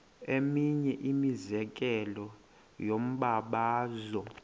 eminye imizekelo yombabazo